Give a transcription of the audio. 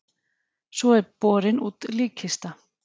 Svo er borin út líkkista.